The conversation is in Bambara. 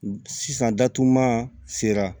Sisan datuguman sera